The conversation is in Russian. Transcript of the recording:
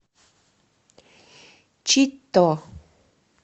читто